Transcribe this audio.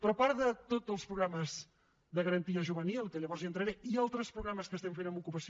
però a part de tots els programes de garantia juvenil que llavors hi entraré i altres programes que estem fent en ocupació